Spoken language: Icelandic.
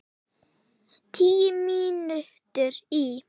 Tíu mínútur í